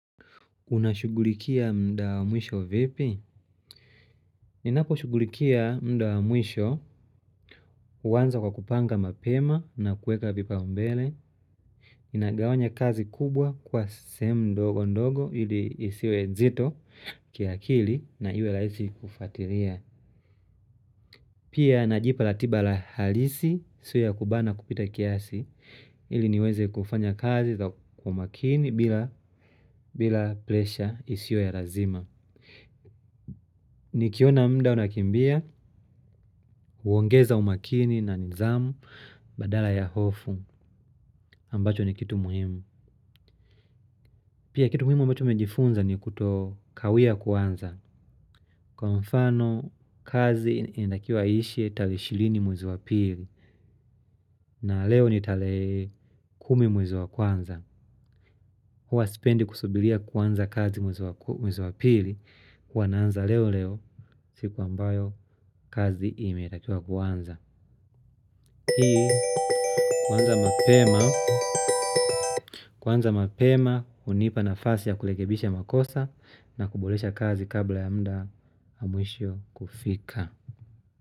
Unashughulikia muda wa mwisho vipi? Ninapo shughulikia muda wa mwisho huanza kwa kupanga mapema na kuweka vipaombele. Ninagawanya kazi kubwa kuwa sehemu ndogo ndogo ili isiwe nzito kiakili na iwe rahisi kufuatilia. Pia najipa ratiba la halisi sio ya kubana kupita kiasi ili niweze kufanya kazi kwa makini bila bila presha isiyo ya lazima. Nikiona muda unakimbia huongeza umakini na nidhamu badala ya hofu ambacho ni kitu muhimu. Pia kitu muhimu ambacho nimejifunza ni kuto kawia kuanza. Kwa mfano kazi inatakiwa iishe tarehe ishirini mwezi wa pili. Na leo ni tarehe kumi mwezi wa kwanza. Huwa sipendi kusubiria kuanza kazi mwezi wa pili huwa naanza leo leo siku ambayo kazi imetakiwa kuanza. Hii kuanza mapema hunipa nafasi ya kurekebisha makosa na kuboresha kazi kabla ya muda wa mwisho kufika.